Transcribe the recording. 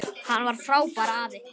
Hann var frábær afi.